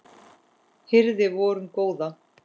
hirði vorum góða